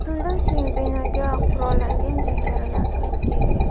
Shundan so‘ng binoga qurollangan jangarilar kirib kelgan.